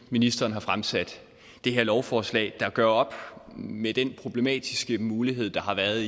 ministeren har fremsat det her lovforslag der gør op med den problematiske mulighed der har været